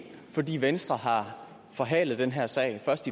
fordi venstre har forhalet den her sag først